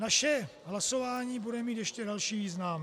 Naše hlasování bude mít ještě další význam.